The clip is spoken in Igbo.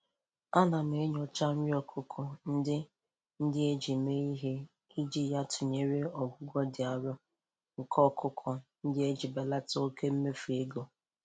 Ana m enyocha nri okụkọ ndị ndị eji mee ihe, iji ya tụnyere ogugo ịdị arọ nke ọkụkọ ndị a iji ya belata oke mmefu ego.